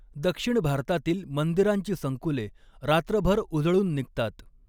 दक्षिण भारतातील मंदिरांची संकुले रात्रभर उजळून निघतात.